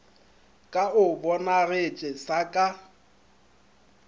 ka o bonagetše sa ka